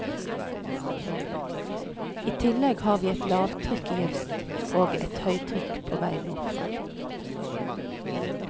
I tillegg har vi et lavtrykk i øst, og et høytrykk på vei nordfra.